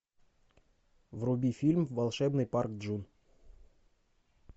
вруби фильм волшебный парк джун